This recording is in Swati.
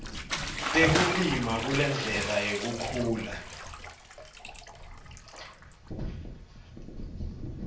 tekulima kulendlela yekukhula